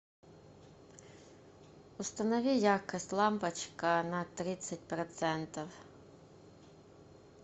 установи яркость лампочка на тридцать процентов